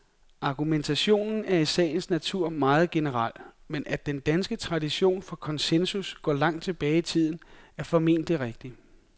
Argumentationen er i sagens natur meget generel, men at den danske tradition for konsensus går langt tilbage i tiden, er formentlig rigtigt.